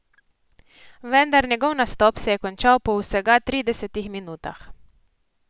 Vendar njegov nastop se je končal po vsega tridesetih minutah.